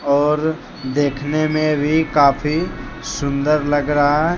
और देखने में भी काफी सुंदर लग रहा है।